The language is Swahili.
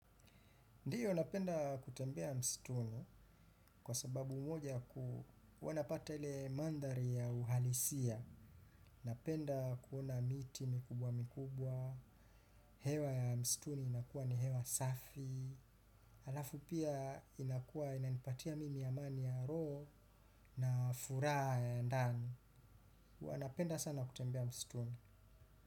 Ndiyo napenda kutembea msituni kwa sababu moja huwa napata ile mandhari ya uhalisia. Napenda kuona miti mikubwa mikubwa, hewa ya msituni inakuwa ni hewa safi, halafu pia inakuwa inanipatia mimi amani ya roho na furaha ya ndani. Wanapenda sana kutembea msituni.